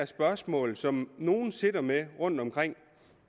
spørgsmål som nogen sidder med rundtomkring